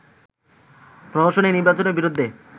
প্রহসনের নির্বাচনের বিরুদ্ধে